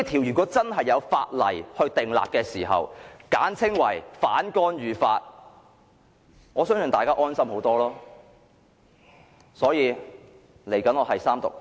如果政府可以就此制定一項簡稱為"反干預法"的條例，我相信大家會更感安心。